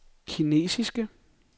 kinesiske